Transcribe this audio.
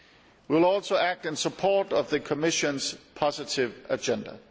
We will also act in support of the Commission's positive agenda.